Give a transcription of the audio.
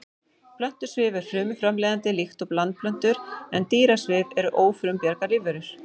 Plöntusvif er frumframleiðandi líkt og landplöntur en dýrasvif eru ófrumbjarga lífverur.